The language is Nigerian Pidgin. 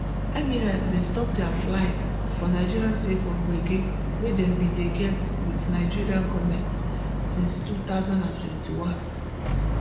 emirates bin stop dia flights for nigeria sake of gbege wey dem bin dey get wit nigeria gomet since two thousand and twenty-one